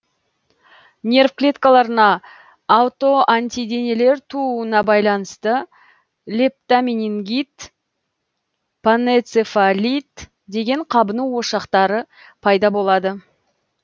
нерв клеткаларына аутоантиденелер тууына байланысты лептоменингит панэнцефалит деген қабыну ошақтары пайда болады